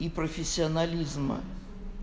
и профессионализма